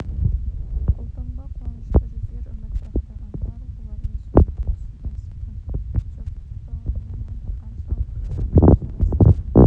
қолтаңба қуанышты жүздер үмітті ақтағандар олармен суретке түсуге асықты жұрт құттықтауын аямады қанша ұлықтасақ та жарасты